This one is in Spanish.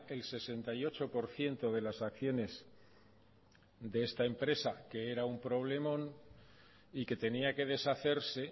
el sesenta y ocho por ciento de las acciones de esta empresa que era un problemón y que tenía que deshacerse